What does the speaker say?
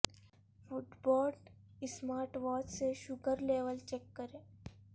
fit but smart watch سے sugar level check کریں